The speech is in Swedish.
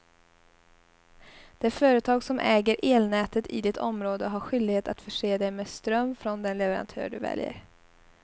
Det företag som äger elnätet i ditt område har skyldighet att förse dig med ström från den leverantör du väljer.